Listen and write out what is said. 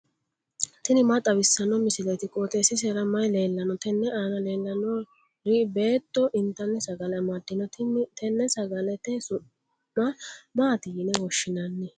tini maa xawissanno misileeti? qooxeessisera may leellanno? tenne aana leellannori beetto intanni sagale amaddino. tenne sagalete su'ma maati yine woshshinanni?